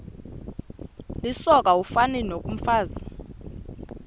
lisoka ufani nokomfazi